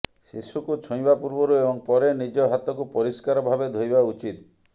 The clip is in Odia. ଶିଶୁକୁ ଛୁଇଁବା ପୂର୍ବରୁ ଏବଂ ପରେ ନିଜ ହାତକୁ ପରିଷ୍କାର ଭାବେ ଧୋଇବା ଉଚିତ୍